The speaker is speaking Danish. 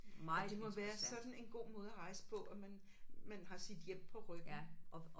Og det må være sådan en god måde at rejse på at man man har sit hjem på ryggen